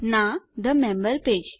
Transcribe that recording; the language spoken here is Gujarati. ના થે મેમ્બર પેજ